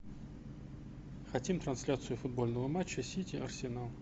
хотим трансляцию футбольного матча сити арсенал